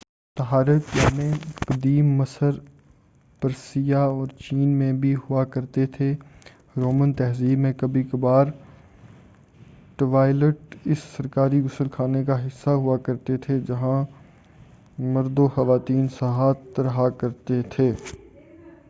طہارت خانے قدیم مصر پرسیا اور چین میں بھی ہوا کرتے تھے رومن تہذیب میں کبھی کبھار ٹوائلٹ اس سرکاری غسل خانے کا حصہ ہوا کرتے تھے جہاں مردو خواتین ساتھ رہا کرتے تھے